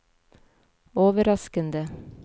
overraskende